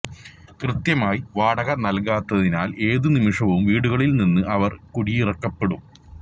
കൃത്യമായി വാടക നല്കാത്തതിനാല് ഏതു നിമിഷവും വീടുകളില് നിന്ന് അവര് കുടിയിറക്കപ്പെടും